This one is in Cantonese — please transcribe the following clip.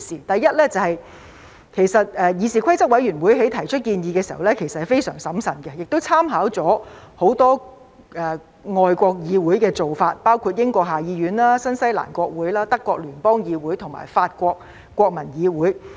第一是議事規則委員會在提出建議時是非常審慎的，亦參考了很多外國議會的做法，包括英國下議院、新西蘭國會、德國聯邦議院和法國國民議會。